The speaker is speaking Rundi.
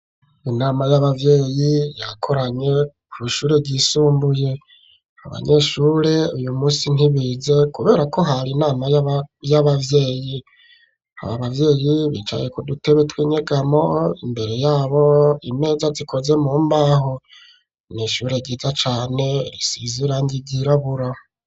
Inama y'abavyeyi yakoranye kw'ishure ryisumbuye abanyeshure uyu munsi ntibize kuberako hari inama y'abavyeyi, abo bavyeyi bicaye ku dutebe tw'inyegamo imbere yabo imeza zikoze mu mbaho n'ishure ryiza cane risize irangi ry'irabura.